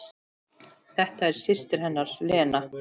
Þetta er systir hennar Lena.